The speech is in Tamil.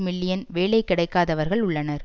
மில்லியன் வேலை கிடைக்காதவர்கள் உள்ளனர்